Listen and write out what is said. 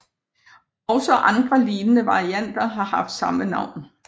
Også andre lignende varianter har haft samme navn